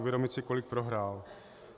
Uvědomit si, kolik prohrál.